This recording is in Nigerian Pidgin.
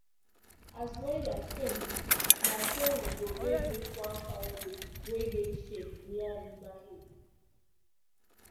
as weather change na so we go dey look one fine road wey get shade near river hill.